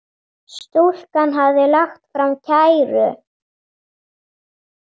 Stúlkan hafði lagt fram kæru.